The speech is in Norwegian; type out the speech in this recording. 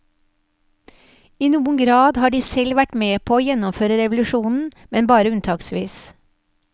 I noen grad har de selv vært med på å gjennomføre revolusjonen, men bare unntaksvis.